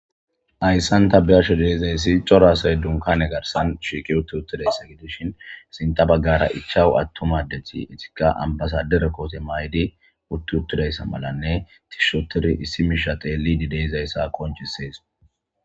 Hayssan ta beashe deizayssi cora asay dunkane garsan shiiqi utti uttudayssa gidishin sinta baggara ichawu attuma addeti eetika ambasadere koote maydi utti uttudayssa malanne tishshi ottidi issi miisha teelidi de7izayssa qonccisees.